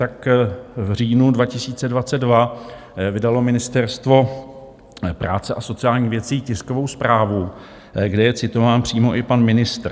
Tak v říjnu 2022 vydalo Ministerstvo práce a sociálních věcí tiskovou zprávu, kde je citován přímo i pan ministr.